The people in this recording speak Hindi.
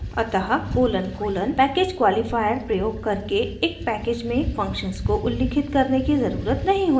अतः colon colon :: पैकेज क्वॉलिफायर प्रयोग करके एक पैकेज में फंक्शन्स को उल्लिखित करने की ज़रुरत नहीं होती है